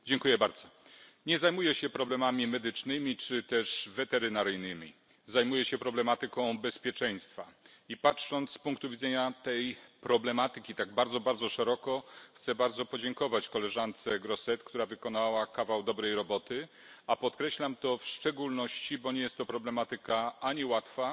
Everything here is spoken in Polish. Panie Przewodniczący! Nie zajmuję się problemami medycznymi czy też weterynaryjnymi, zajmuję się problematyką bezpieczeństwa i patrząc z punktu widzenia tej problematyki tak bardzo, bardzo szeroko, chcę bardzo podziękować koleżance Grossetête, która wykonała kawał dobrej roboty, a podkreślam to w szczególności, bo nie jest to problematyka ani łatwa,